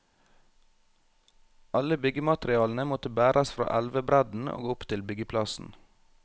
Alle byggematerialene måtte bæres fra elvebredden og opp til byggeplassen.